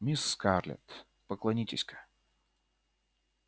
мисс скарлетт поклонитесь-ка